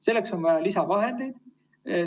Selleks on vaja lisavahendeid.